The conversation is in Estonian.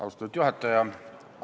Austatud juhataja!